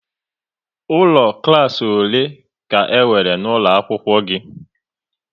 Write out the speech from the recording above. Ụlọ klas ole ka e nwere n'ụlọ akwụkwọ gị?